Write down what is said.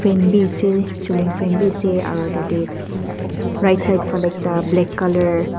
biase celling fan biase aro ekta tatae right side falae ekta black colour .